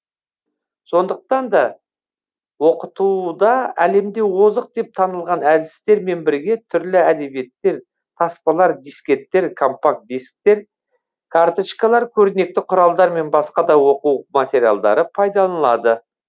сондықтан да оқытуда әлемде озық деп танылған әдістермен бірге түрлі әдебиеттер таспалар дисктер компакт дисктер карточкалар көрнекті құралдар мен басқа да оқу материалдары пайдаланылады